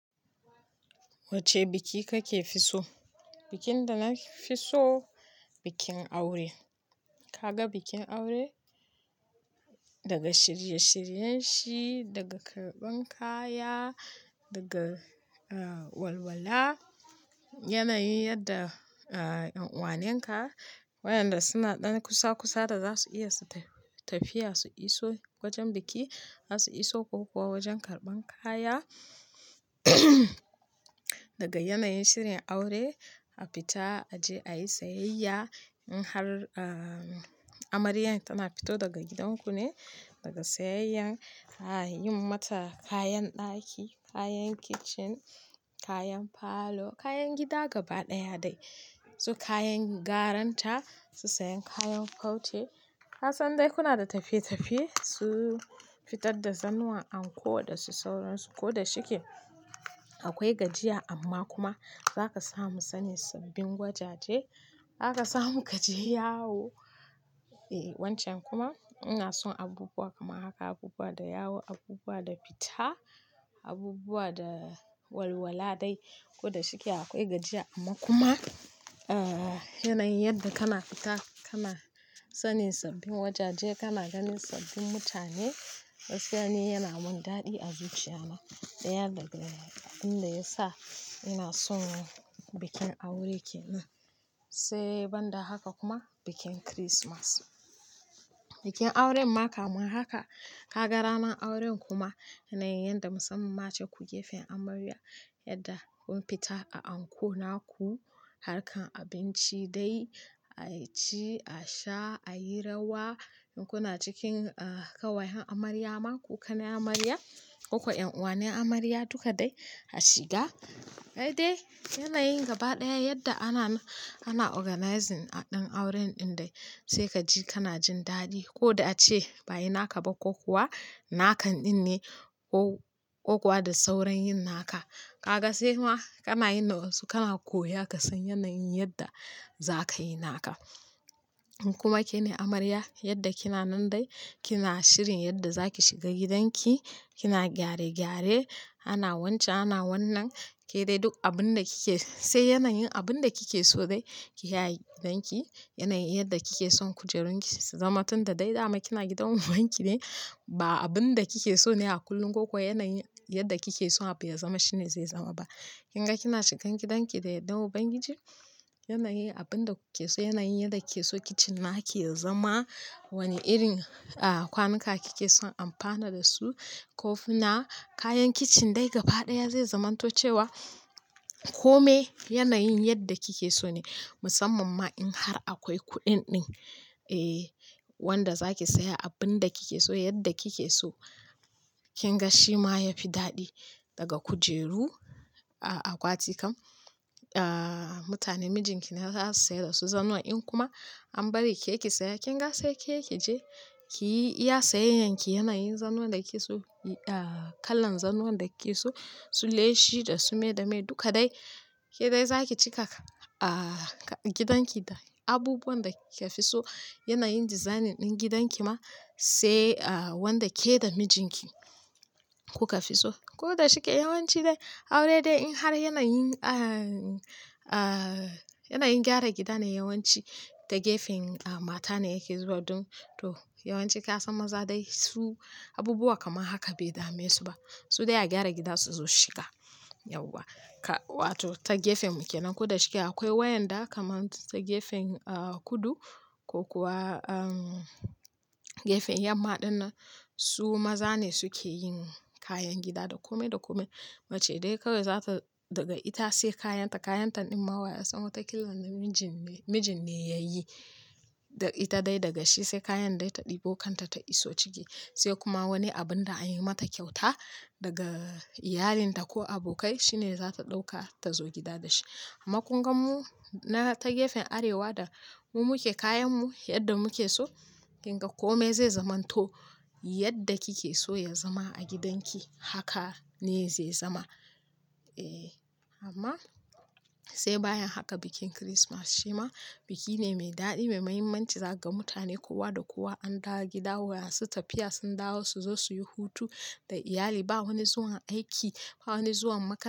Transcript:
Wacce biki kake fi so? Bikin da na fi so bikin aure. Kaga bikin aure daga shirye-shiryen shi, daga karɓan kaya, daga walwala, yanayin yadda ƴan uwanen ka wayanda suna ɗan kusa-kusa da za su iya tafiya su iso wajen biki za su iso ko kuwa wajen karɓan kaya. Daga yanayin shirin aure a fita a je ayi sayayya in har amaryar tana fito daga gidan ku ne, daga sayayyan a yi mata kayan ɗaki, kayan kicin, kayan falo, kayan gida gaba ɗaya dai. Su kayan garan ta, su sayan kayan farce. Kasan dai kuna da tafiye-tafiye, su fitar da zanuwan anko da su sauransu ko da shike akwai gajiya amma kuma zaka samu sanin sabbin wajaje, zaka samu kaje yawo. Wancan kuma ina son abubuwa kamar haka, abubuwa da yawo, abubuwa da fita, abubuwa da walwala dai ko da shike akwai gajiya amma kuma yanayin yadda kana fita kana sanin sabbin wajaje, kana ganin sabbin mutane gaskiya ni yana mun daɗi a zuciya na. Daya daga abin da ya sa ina son bikin aure ke nan sai banda haka kuma bikin kirismas. Bikin aure ma kamar haka, ka ga ranar auren kuma yanayin yadda musamman ma ce ku gefen amarya yadda kun fita a anko naku harkar abinci dai a ci, a sha, a yi rawa, kun a cikin kawayen amarya ma ku kanen amarya, kuka ƴan uwanen amarya duka dai a shiga. Ai dai yanayin gabaɗaya yadda ana organizing ɗin auren ɗin dai sai kaji kana jin daɗi ko da ace ba'a yi naka ba ko kuwa nakan ɗin ne ko kuwa da sauran yin naka. Kaga sai ma kana yin na wasu kana koya ka san yanayin yadda za ka yi naka. In kuma ke ne amarya yadda kina nan dai kina shirin yadda za ki shiga gidanki, kina gyare-gyare, ana wance, ana wannan ke dai duk abin da kike sai yanayin abin da kike so dai ki yayi gidanki. Yanayin yadda kike son kujerun ki su zama tunda dai dama kina gidan ubanki ne ba abin da kike so ne a kullum ko kuwa yanayin yadda kike so a bai zama shine zai zama ba. Kin ga kina shigan gidanki da yadda uban giji, yanayin abin da kuke so, yanayin yadda ke so kicin nake ya zama, wane irin kwanuka kike son amfana da su ko funa kayan kicin dai gabaɗaya zai zamanto cewa kome yanayin yadda kike so ne musamman ma in har akwai kuɗin ɗin wanda za ki saya abin da kike so yadda kike so. Kin ga shi ma ya fi daɗi daga kujeru a akwatikan. Mutane mijinki ne za su saya da su zanuwa in kuma an bari ke ki saya kin ga sai ke ki je kiyi iya sayayyan ki yanayin zanuwan da ke so, kalan zanuwan da ke so su leshi da su me da me duka dai ke dai za ki cikaka a gidanki da abubuwan da kika fi so yanayin design ɗin gidan ki ma sai wanda ke da mijinki kuka fi so. Ko da shike yawanci dai aure dai in har yanayin, a-a yanayin gyara gida ne yawanci ta gefen mata ne yake zuwa ɗon to yawanci ka san maza dai su abubuwa kamar haka bai dame su ba. Su dai a gyara gida su zo shiga yauwa. Wato ta gefen muke nan ko da shike akwai wayanda kamar ta gefen kudu ko kuwa gefen yamma ɗin nan su maza ne suke yin kayan gida da kome da kome. Mace dai kawai za ta daga ita sai kayan ta kayan ta ɗin ma waya sama ta killan da mijin ne mijin ne ya yi. Da ita dai daga shi sai kayan dai ta ɗebo kanta ta iso ciki sai kuma wani abun da an yi mata kyauta daga iyalinta ko abokai shine za ta ɗauka ta zo gida da shi. Amma kun gan mu na ta gefen arewa da mu muke kayan mu yadda muke so kin ga kome zai zamanto yadda kike so ya zama a gidanki haka ne zai zama. Eh amma sai bayan haka bikin kirismas shi ma biki ne mai daɗi mai mahimmanci zaga mutane kowa da kowa an dawo gida waya su tafiya sun dawo su zo su yi hutu da iyali ba wani zuwan aiki ba wani zuwan makaranta.